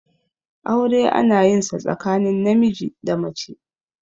aure ana yin sa tsakanin namiji da mace